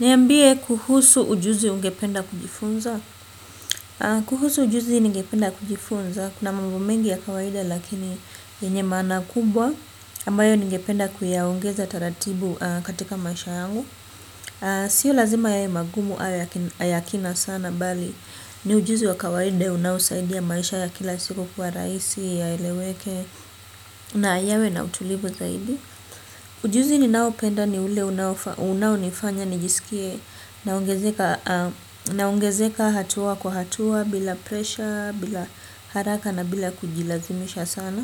Niambie kuhusu ujuzi ungependa kujifunza. Kuhusu ujuzi ningependa kujifunza, kuna mambo mengi ya kawaida lakini, lenye maana kubwa, ambayo ningependa kuyaongeza taratibu katika maisha yangu, sio lazima ye magumu aya ya kina sana bali, ni ujuzi wa kawaida unaosaidia maisha ya kila siku kuwa rahisi, yaeleweke, na yawe na utulibu zaidi. Ujuzi ninao penda ni ule unao nifanya nijisikie naongezeka hatua kwa hatua bila presha, bila haraka na bila kujilazimisha sana.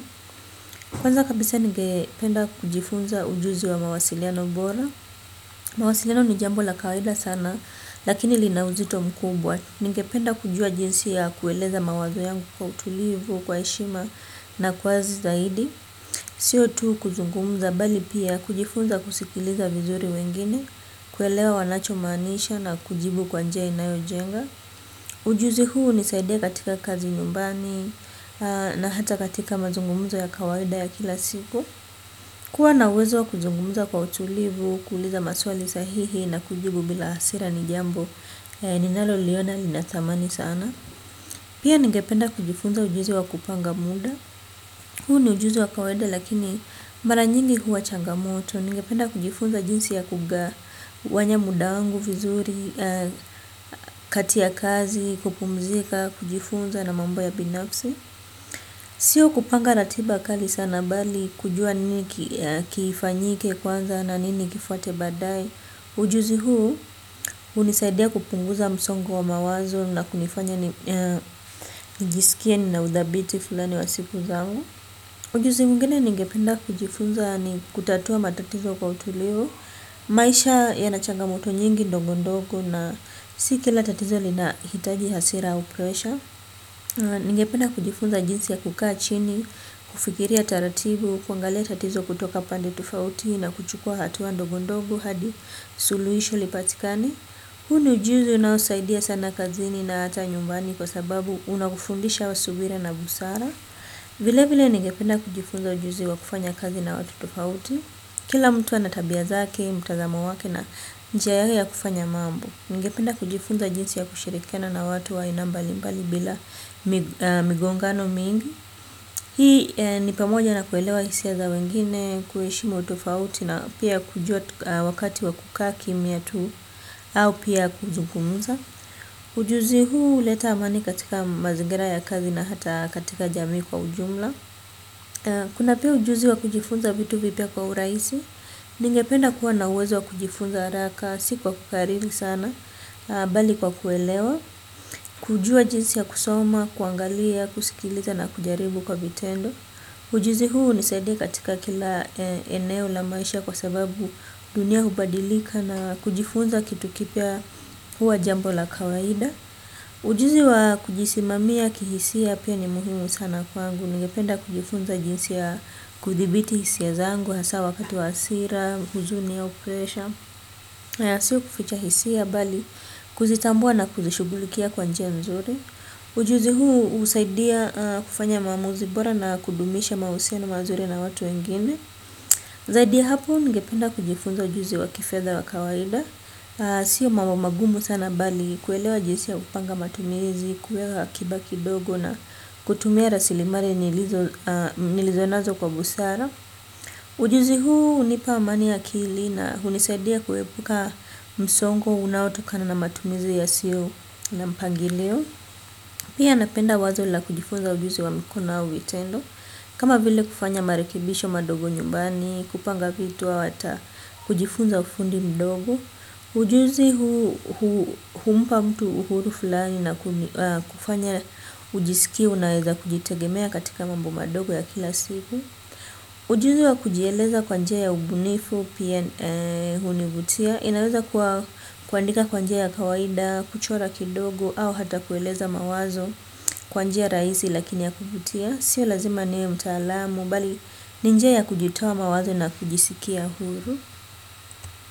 Kwanza kabisa ninge penda kujifunza ujuzi wa mawasiliano bora. Mwasiliano ni jambo la kawaida sana, lakini linauzito mkubwa. Ningependa kujua jinsi ya kueleza mawazo yangu kwa utulivu, kwa heshima na kwazi zaidi. Sio tu kuzungumuza bali pia kujifunza kusikiliza vizuri wengine, kuelewa wanacho manisha na kujibu kwa njia inayo jenga. Ujuzi huu hunisaidia katika kazi nyumbani, na hata katika mazungumzo ya kawaida ya kila siku. Kuwa na uwezo kuzungumuza kwa utulivu, ku uliza maswali sahihi na kujibu bila hasira ni jambo ninalo liona linatamani sana. Pia ningependa kujifunza ujuzi wa kupanga muda, huo ni ujuzi wa kawaida lakini, mara nyingi huwa changamoto. Ningependa kujifunza jinsi ya kugawanya muda wangu, vizuri, kati ya kazi, kupumzika, kujifunza na mambo ya binafsi. Sio kupanga ratiba kali sana, bali kujua nini kifanyike kwanza na nini kifate badae. Ujuzi huu, hunisaidia kupunguza msongo wa mawazo na kunifanya nijisikie nina udhabiti fulani wa siku zangu, ujuzi mwingine ningependa kujifunza ni kutatua matatizo kwa utulio. Maisha yanachanga moto nyingi ndongo ndongo na siki la tatizo lina hitaji hasira au pressure. Ningependa kujifunza jinsi ya kukaa chini, kufikiria taratibu, kuangalia tatizo kutoka pande tofauti na kuchukua hatua ndongo ndongo. Hadi, suluisho lipatikane. Huu ni ujuzi unaosaidia sana kazini na hata nyumbani kwa sababu unakufundisha wa subira na busara. Vile vile ningependa kujifunza ujuzi wa kufanya kazi na watu tofauti. Kila mtu anatabia zake, mtazamo wake na njia yake ya kufanya mambo. Ningependa kujifunza jinsi ya kushirikana na watu wa ainambali mbali bila migongano mingi. Hii ni pamoja na kuelewa hisia za wengine kuheshimu tofauti na pia kujua wakati wakukaa kimya tu, au pia kuzungumuza. Ujuzi huu uleta amani katika mazingira ya kazi na hata katika jamii kwa ujumla kuna pia ujuzi wa kujifunza vitu vipya kwa uraisi, ningependa kuwa na uwezo wa kujifunza haraka siku wa kukariri sana bali kwa kuelewa, kujua jinsi ya kusoma, kuangalia kusikiliza na kujaribu kwa vitendo ujuzi huu hunisaidia katika kila eneo la maisha kwa sababu dunia hubadilika. Na kujifunza kitu kipya huwa jambola kawaida. Ujuzi wa kujisimamia kihisia, piani muhimu sana kwangu. Nigependa kujifunza jinsi ya kuthibiti hisia zangu, hasa wakati wa hasira, huzuni au pesha. Na sio kuficha hisia, bali kuzitambua na kuzishughulikia kwa njia mzuri, ujuzi huu husaidia kufanya maamuzi bora na kudumisha mahusiano mazuri na watu wengine, zaidi ya hapo ngependa kujifunza ujuzi wa kifedha wa kawaida. Sio mambo magumu sana bali, kuelewa jisi ya kupanga matumizi, kuweka akiba kidogo na kutumia rasilimali nilivyo nilizonazo kwa busara, ujuzi huu hunipa amani akili na, hunisadia kuepuka msongo unaotokana na matumizi yasio na mpangilio. Pia napenda wazo la kujifunza ujuzi wa mikono au vitendo, kama vile kufanya marekibisho madogo nyumbani, kupanga vitu au hata kujifunza ufundi mdogo. Ujuzi humpa mtu uhuru fulani na kufanya ujisikie unaeza kujitegemea katika mambo madogo ya kila siku, ujuzi wa kujieleza kwanjia ya ubunifu, pia hunivutia. Inaweza kuwa kuandika kwa njia ya kawaida, kuchora kidogo au hata kueleza mawazo, kwa njia raisi lakini ya kuvutia. Sio lazima niwe mtaalamu, bali ni njia ya kujitoa mawazo na kujisikia huru.